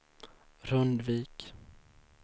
Rundvik